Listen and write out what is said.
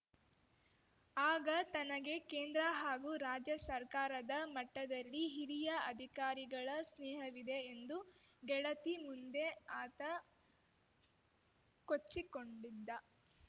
ಆಗ ತನಗೆ ಕೇಂದ್ರ ಹಾಗೂ ರಾಜ್ಯ ಸರ್ಕಾರದ ಮಟ್ಟದಲ್ಲಿ ಹಿರಿಯ ಅಧಿಕಾರಿಗಳ ಸ್ನೇಹವಿದೆ ಎಂದು ಗೆಳತಿ ಮುಂದೆ ಆತ ಕೊಚ್ಚಿಕೊಂಡಿದ್ದ